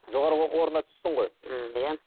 жоғарғы оқу орнына түстің ғой ііі иә